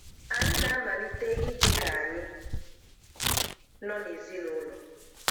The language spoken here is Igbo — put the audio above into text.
Ànyị na-amalite ìdí ka ànyị nọ n’ezinụlọ.